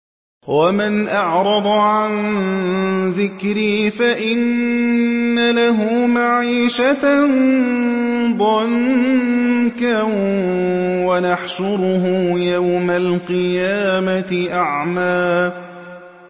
وَمَنْ أَعْرَضَ عَن ذِكْرِي فَإِنَّ لَهُ مَعِيشَةً ضَنكًا وَنَحْشُرُهُ يَوْمَ الْقِيَامَةِ أَعْمَىٰ